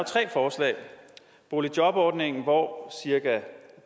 tre forslag boligjobordningen hvor cirka